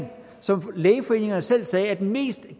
som lægeforeningerne selv sagde er den mest